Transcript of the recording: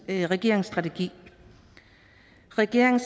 i regeringens strategi regeringen